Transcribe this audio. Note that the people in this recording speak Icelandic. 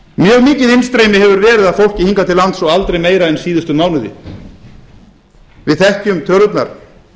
mjög mikið innstreymi hefur verið af fólki hingað til lands og aldrei meira en síðustu mánuði við þekkjum tölurnar